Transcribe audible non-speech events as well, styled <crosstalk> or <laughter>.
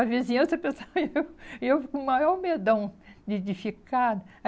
A vizinhança, <laughs> pessoal, e eu e eu com o maior medão de de ficar.